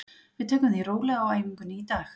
Við tökum því rólega á æfingunni í dag.